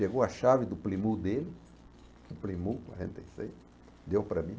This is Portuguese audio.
Pegou a chave do plimu dele, o plimu quarenta e seis, deu para mim.